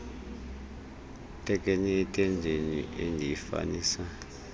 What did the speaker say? thekenee entendeni endiyifanisa